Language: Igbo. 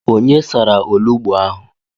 Onye sara olugbo ahụ?